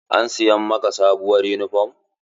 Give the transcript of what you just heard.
An siya ma ka sabuwur yunifom?